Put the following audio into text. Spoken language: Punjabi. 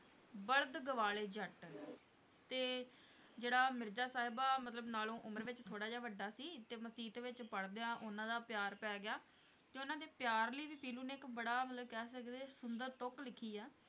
ਬਲ਼ਦ ਗਵਾ ਲਏ ਜੱਟ ਤੇ ਜਿਹੜਾ ਮਿਰਜਾ ਸਾਹਿਬਾਂ ਮਤਲਬ ਨਾਲੋਂ ਉਮਰ ਵਿੱਚ ਥੋੜ੍ਹਾ ਜਿਹਾ ਵੱਡਾ ਸੀ ਤੇ ਮਸੀਤ ਵਿੱਚ ਪੜ੍ਹਦਿਆਂ ਉਹਨਾਂ ਦਾ ਪਿਆਰ ਪੈ ਗਿਆ, ਤੇ ਉਹਨਾਂ ਦੇ ਪਿਆਰ ਲਈ ਵੀ ਪੀਲੂ ਨੇ ਇੱਕ ਬੜਾ ਮਤਲਬ ਕਹਿ ਸਕਦੇ ਸੁੰਦਰ ਤੁੱਕ ਲਿੱਖੀ ਆ